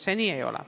See nii ei ole.